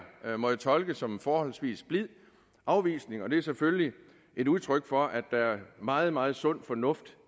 må jeg tolke som en forholdsvis blid afvisning og det er selvfølgelig et udtryk for at der er meget meget sund fornuft